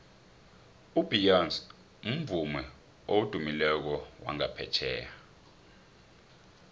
ubeyonce mvumi odumileko wangaphetjheya